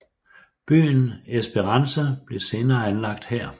Byen Esperance blev senere anlagt her